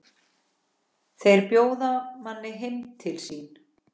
Þeir bjóða manni heim til sín.